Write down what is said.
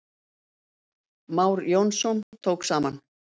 Már Jónsson tók saman.